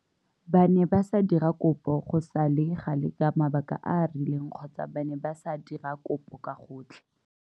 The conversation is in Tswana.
Ba ne ba sa dira kopo go sa le gale ka mabaka a a rileng kgotsa ba ne ba sa dira kopo ka gotlhe.